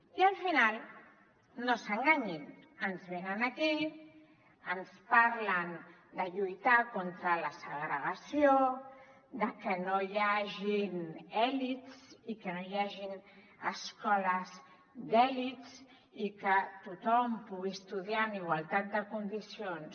i al final no s’enganyin ens venen aquí ens parlen de lluitar contra la segregació de que no hi hagin elits i que no hi hagin escoles d’elit i que tothom pugui estudiar en igualtat de condicions